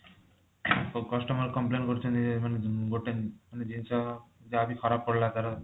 customer complain କରୁଛନ୍ତି ମାନେ ଗୋଟେ ଜିନିଷ ଯାହାବି ଖରାପ ପଡିଲା ତାର